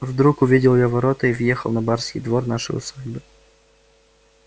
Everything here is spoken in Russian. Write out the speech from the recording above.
вдруг увидел я ворота и въехал на барский двор нашей усадьбы